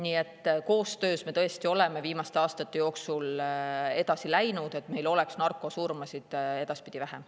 Nii et koostöös me tõesti oleme viimaste aastate jooksul edasi läinud, et meil oleks narkosurmasid vähem.